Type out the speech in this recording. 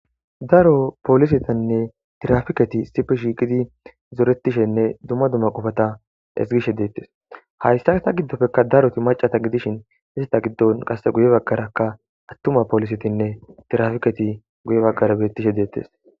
daro polisetinne tirafiketi sipi shiqidi zoretishenne dumma dumma qofata esgishe deettes hayssa ta giddopfekka daroti macata gidishin isata giddon qase guye baggarakka attuma polisetinne tirafiketi guye baggara beettishe deettes